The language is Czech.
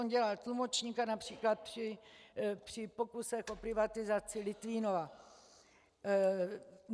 On dělal tlumočníka například při pokusech o privatizaci Litvínova.